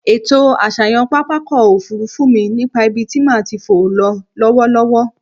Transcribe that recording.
Ètò àṣàyàn pápákọ̀-òfurufú mi nípa ibi tí màá ti fò ń lọ lọ́wọ́lọ́wọ́.